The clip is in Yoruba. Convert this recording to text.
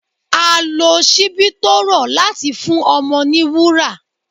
À lò sìbì tọ rọ latí fún ọmọ ní wúrá